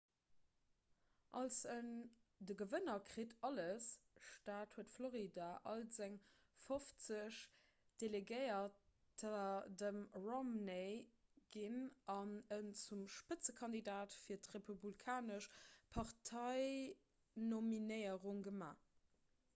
als en 'de gewënner kritt alles'-staat huet florida all seng fofzeg delegéierter dem romney ginn an en zum spëtzekandidat fir d'republikanesch parteinominéierung gemaach